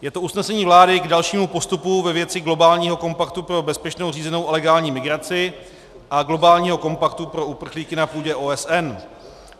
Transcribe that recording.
Je to usnesení vlády k dalšímu postupu ve věci globálního kompaktu pro bezpečnou, řízenou a legální migraci a globálního kompaktu pro uprchlíky na půdě OSN.